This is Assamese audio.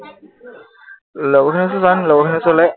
লগৰখিনিৰ ওচৰলে যোৱা নাই নেকি, লগৰখিনিৰ ওচৰলে?